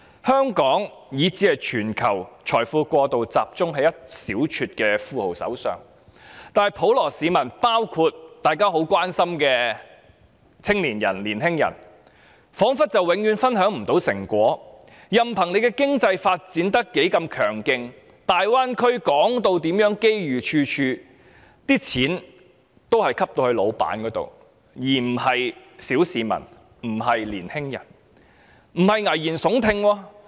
香港以至全球的財富過度集中於一小撮富翁手上，普羅市民——包括大家很關心的青年人——卻彷彿永遠分享不到成果，任憑經濟發展有多強勁，大灣區被說成機遇處處，但錢也只落在老闆手上，而非落在小市民，也不是青年人手上。